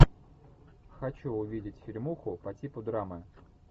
хочу увидеть фильмуху по типу драмы